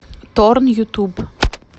торн ютуб